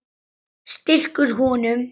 Strýkur honum.